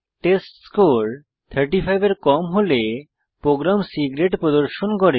test score 35 এর কম হলে প্রোগ্রাম C গ্রেড প্রদর্শন করে